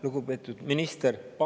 Lugupeetud minister!